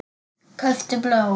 Kauptu blóm.